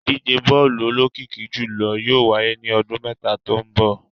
Idije bọọlu olokiki julọ yóò waye ni ọdun mẹta to nbọ